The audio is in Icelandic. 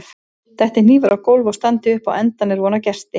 Detti hnífur á gólf og standi upp á endann er von á gesti.